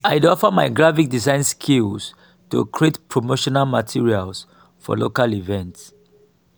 i dey offer my graphic design skills to create promotional materials for local events.